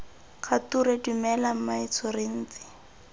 kgature dumela mmaetsho re ntse